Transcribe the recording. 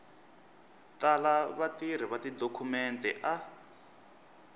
tala vatirhi va tidokhumente a